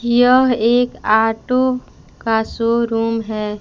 यह एक ऑटो का शोरूम है।